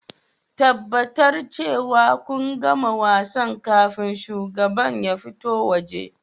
Tabbatar cewa kun gama wasan kafin shugaban ya fito waje